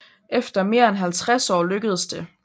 Efter mere end halvtreds år lykkedes det